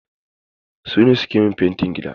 Su ne suke min fentin gidana.